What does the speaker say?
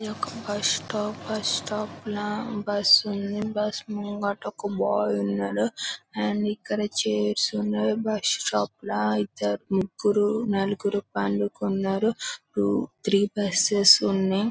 ఇదొక bus stop bus stop న bus ఉంది బస్సు ముంగిట ఒక బాయ్ ఉన్నాడు అండ్ ఇక్కడ చైర్స్ ఉన్నాయ్ బస్టాప్ లో ఐతే ముగ్గురు నలుగురు పళ్ళు కొన్నారు త్రి బస్సెస్ ఉన్నాయ్.